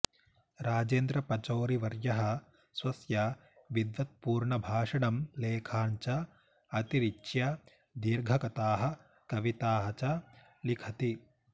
राजेन्द्रपचौरिवर्यः स्वस्य विद्बत्पूर्णभाषणं लेखान् च अतिरिच्य दीर्घकथाः कविताः च लिखति